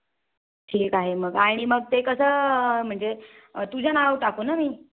ठीक आहे मग आणि मग ते कस म्हणजे तुझ नाव टाकू ना मी